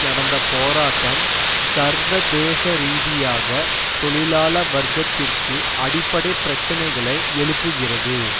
நடந்த போராட்டம் சர்வதேசரீதியாக தொழிலாள வர்க்கத்திற்கு அடிப்படை பிரச்சனைகளை எழுப்புகிறது